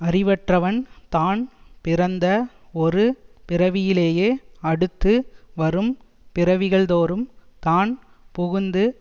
அறிவற்றவன் தான் பிறந்த ஒரு பிறவியிலேயே அடுத்து வரும் பிறவிகள்தோறும் தான் புகுந்து